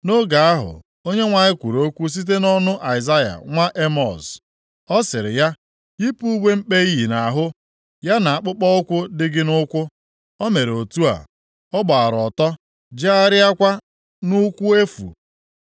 Nʼoge ahụ Onyenwe anyị kwuru okwu site nʼọnụ Aịzaya nwa Emọz. Ọ sịrị ya, “Yipụ uwe mkpe iyi nʼahụ, ya na akpụkpọụkwụ dị gị nʼụkwụ.” O mere otu a, ọ gbaara ọtọ, jegharịakwa nʼụkwụ efu.